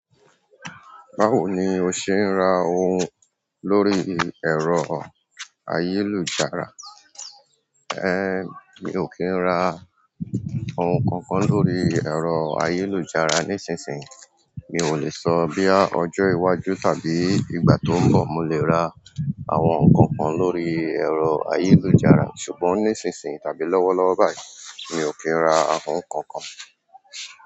Báwo ni o ṣe ń ra ohun lórí ẹ̀rọ ayélujára? Ehn, mi ò kí ń ra ohun kankan lórí ẹ̀rọ ayélujára. Nísinsìnyí mi ò lè sọ bí ọjọ́ iwájú tàbí ìgbà tó ń bọ̀ mo le ra àwọn nǹkan kan lórí ẹ̀rọ ayélujára. Ṣùgbọ́n nísinsìnyí tàbí lọ́wọ́lọ́wọ́ báyìí mi ò kí ń ra ohun kankan.